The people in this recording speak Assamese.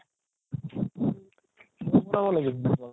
মই বনাব লাগিব